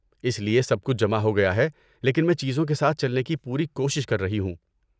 اس لیے سب کچھ جمع ہو گیا ہے، لیکن میں چیزوں کے ساتھ چلنے کی پوری کوشش کر رہی ہوں۔